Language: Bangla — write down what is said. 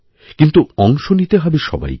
কিন্তু অংশ নিতে হবেসবাইকে